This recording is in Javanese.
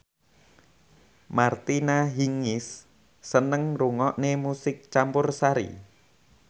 Martina Hingis seneng ngrungokne musik campursari